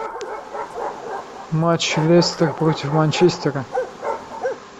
матч лестер против манчестера